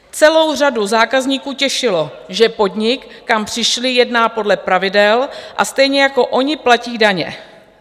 Celou řadu zákazníků těšilo, že podnik, kam přišli, jedná podle pravidel a stejně jako oni platí daně.